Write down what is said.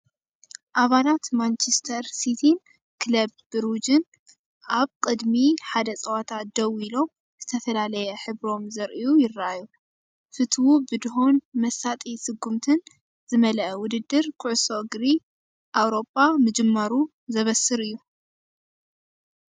ኣባላት ማንቸስተር ሲቲን ክለብ ብሩጅን ኣብ ቅድሚ ሓደ ጸወታ ደው ኢሎም ዝተፈላለየ ሕብሮም ዘርእዩ ይረኣዩ። ፍቱው ብድሆን መሳጢ ስጉምትን ዝመልአ ውድድር ኩዕሶ እግሪ ኤውሮጳ ምጅማሩ ዘበስር እዩ።